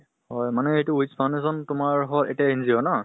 মানে এইটো wish foundation তোমাৰ হ এতিয়া NGO ন?